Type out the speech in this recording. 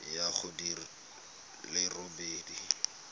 ya go di le robedi